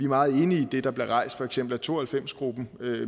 meget enige i det der blev rejst af for eksempel to og halvfems gruppen